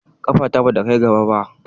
Kafa bata kai gaba ba.